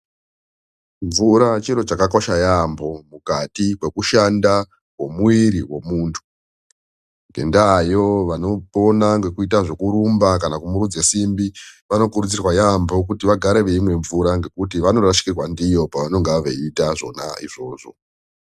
Mvura chiro chakakosha yaamho mukati mekushanda komuviri wemundu ngenda yoo vanopona nekurumba kana kusumudze simbi vanokurudzirwa yaamho kuti vagare veimwa mvura nekuti vanorasikirwa ndiyo pavanonga veita izvonaizvozvo.